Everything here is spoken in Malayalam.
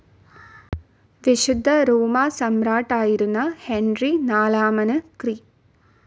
വിശുദ്ധ റോമാസമ്രാട്ടായിരുന്ന ഹെൻറി നാലാമന് ക്രി.